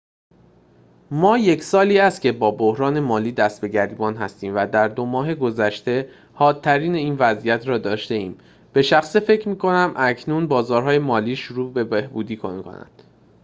ما یک سالی است که با بحران مالی دست به گریبان هستیم و در دو ماه گذشته حادترین این وضعیت را داشته‌ایم به شخصه فکر می‌کنم اکنون بازارهای مالی شروع به بهبودی می‌کنند